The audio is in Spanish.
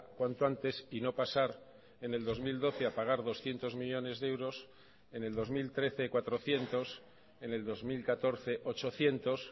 cuanto antes y no pasar en el dos mil doce a pagar doscientos millónes de euros en el dos mil trece cuatrocientos en el dos mil catorce ochocientos